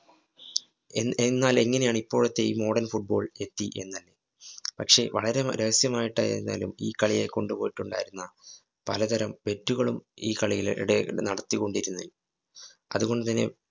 എന്നാ എന്നാലെങ്ങിനെയാണിപ്പോഴത്തെ ഈ model football എത്തി എന്ന്. പക്ഷെ വളരെ രഹസ്യമായിട്ടായിരുന്നാലും ഈ കളിയെ കൊണ്ടുപോയിട്ടുണ്ടായിരുന്ന പലതരം തെറ്റുകളും ഈ കളിയിലെ ഇടയില്‍ ഇതു നടത്തികൊണ്ടിരുന്നു അതുകൊണ്ടുതന്നെ